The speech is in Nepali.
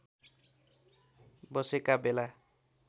बसेका बेला